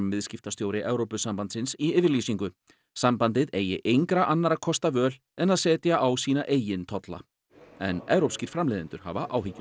viðskiptastjóri Evrópusambandsins í yfirlýsingu sambandið eigi engra annarra kosta völ en að setja á sína eigin tolla en evrópskir framleiðendur hafa áhyggjur